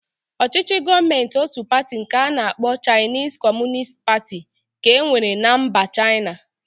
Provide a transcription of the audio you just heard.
Ọchịchị Gọọmentị ótù pati nke a na-akpọ Chaịnis Kọmunist Pati ka e nwere na mba Chaịna.